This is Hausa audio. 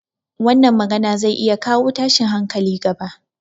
Wannan magana zai iya kawo tashin hankali gaba